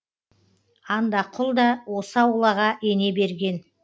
андақұл да осы аулаға ене берген